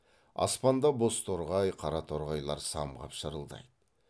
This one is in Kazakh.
аспанда бозторғай қараторғайлар самғап шырылдайды